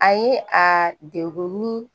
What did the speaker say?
A ye a degun ni